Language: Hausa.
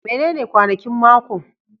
Menene kwanakin mako?